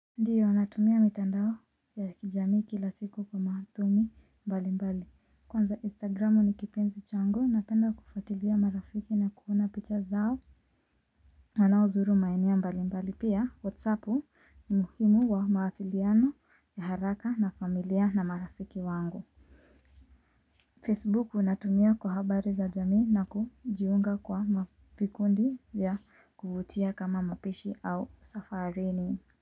Ndiyo natumia mitandao ya kijamii kila siku kwa maathumi mbalimbali kwanza instagramu ni kipenzi changu napenda kufuatilia marafiki na kuona picha zao. Wanaozulu maeneo mbalimbali pia whatsapu ni muhimu wa mawasiliano ya haraka na familia na marafiki wangu Facebook natumia kwa habari za jamii na kujiunga kwa mavikundi vya kuvutia kama mapishi au safarini.